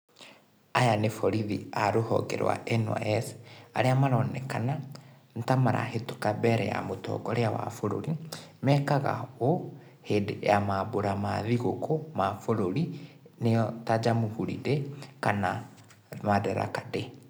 Aya níĩ borithi a rũhonge rwa NYS, arĩa maronekana, nítamarahetũka mbeere ya mũtongoria wa bũrũri, mekaga úũ hĩndiĩ ya mabura ma thigũkũ ma bũrũri, nĩo ta Jamhuri day madaraka day.